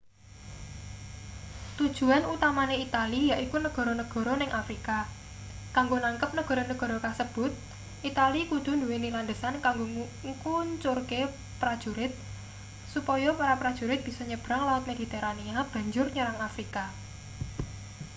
tujuan utamane itali yaiku negara-negara ning afrika kanggo nangkep negara-negara kasebut itali kudu nduweni landesan kanggo ngkuncurke prajurit supaya para prajurit bisa nyebrang laut mediterania banjur nyerang afrika